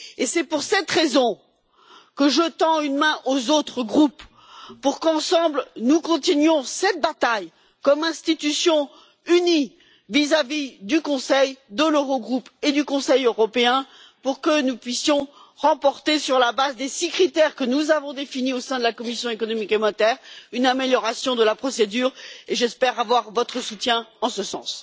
Et c'est pour cette raison que je tends une main aux autres groupes pour qu'ensemble nous continuions cette bataille comme institution unie vis à vis du Conseil, de l'Eurogroupe et du Conseil européen, pour que nous puissions obtenir, sur la base des six critères que nous avons définis au sein de la commission des affaires économiques et monétaires, une amélioration de la procédure, et j'espère avoir votre soutien en ce sens.